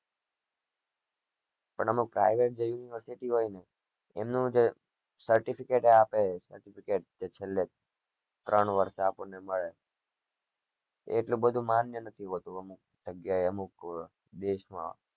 પણ અમુક જે private જે university હોય ને એમનું જે certificate આપે certificate જે છેલે ત્રણ વર્ષ એ આપને મળે એ આટલું બધું માન્ય નથી હોતું અમુક જગ્યા એ અમુક દેશ માં